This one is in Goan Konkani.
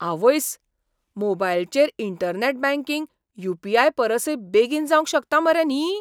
आवयस्स, मोबायलचेर इंटरनॅट बँकिंग यू. पी. आय.परसय बेगीन जावंक शकता मरे न्ही!